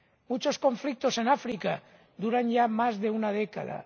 Muchos conflictos en África duran ya más de una década.